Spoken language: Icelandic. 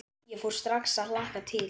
Ég fór strax að hlakka til.